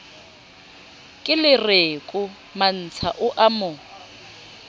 kelereko mantsha o a mo